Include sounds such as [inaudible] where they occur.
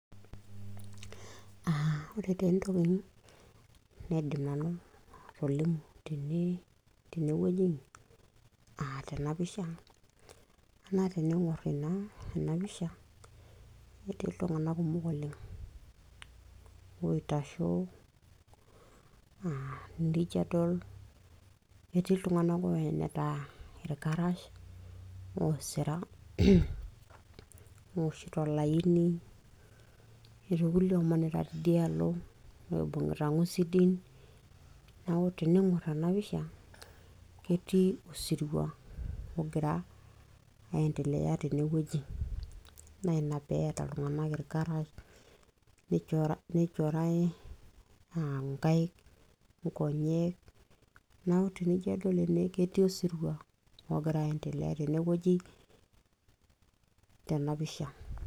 ore taa entoki naidim nanu atolimu tenewoji , tena CS[picture]CS ketii iltung'anak kumok oleng' naa tenijo adol ketii iltung'anak oenita ilkarash oosira CS [clears throat] CS owoshito CS[line]CS netii kulie omanita teidaalo oibung'ita ing'usidin neeku teniing'or ena CS[picture]CS ketii osirua ogira aiendelea tenewoji naa ina peeta iltung'anak ilkarash nichorai inkaik inkonyek neeku tenijo adol ketii osirua ogira aiendelea tenewoji tena CS[picture]CS.